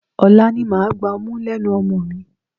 Ọ̀la ni màá gba ọmú lẹ́nu ọmọ mi.